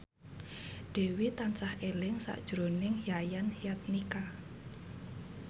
Dewi tansah eling sakjroning Yayan Jatnika